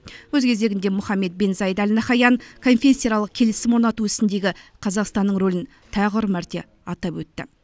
өз кезегінде мұхаммед бен заид әл наһаян конфессияаралық келісім орнату ісіндегі қазақстанның рөлін тағы бір мәрте атап өтті